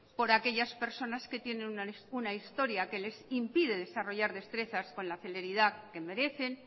por aquellas personas que tienen una historia que les impide desarrollar destrezas con la celeridad que merecen